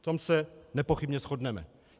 V tom se nepochybně shodneme.